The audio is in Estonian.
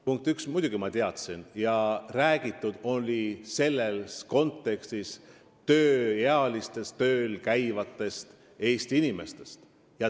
Punkt üks: muidugi ma teadsin ja selles kontekstis räägiti tööealistest tööl käivatest Eesti inimestest.